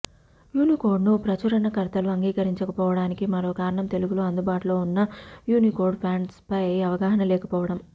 Unicode ను ప్రచురణకర్తలు అంగీకరించకపోవటానికి మరో కారణం తెలుగులో అందుబాటులో ఉన్న యూనీకోడ్ ఫాంట్స్ పై అవగాహన లేకపోవటం